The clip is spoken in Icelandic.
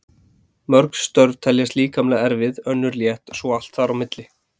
Mörg störf teljast líkamlega erfið, önnur létt og svo allt þar á milli.